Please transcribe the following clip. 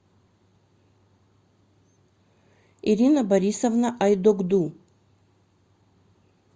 ирина борисовна айдогду